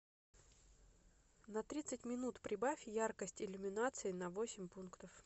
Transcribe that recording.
на тридцать минут прибавь яркость иллюминации на восемь пунктов